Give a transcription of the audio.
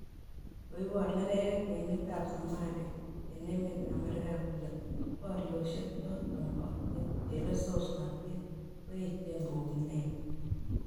Koibor neregek emet ab Somalia en emet ab America kole boryosiek choton bo chelesosnatet koechen koune ne?